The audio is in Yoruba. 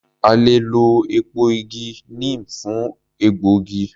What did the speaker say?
A le è lọ èpo igi neem fún ògbógi